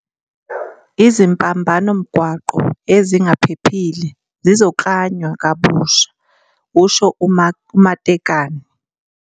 "Izimpambanomgwaqo ezingaphephile zizoklanywa kabusha," kusho u-Matekane.